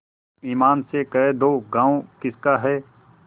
ईमान से कह दो गॉँव किसका है